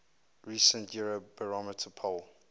recent eurobarometer poll